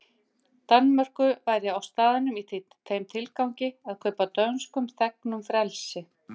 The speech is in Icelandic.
Danmörku væri í staðnum í þeim tilgangi að kaupa dönskum þegnum frelsi.